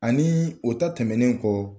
Ani o ta tɛmɛnen kɔ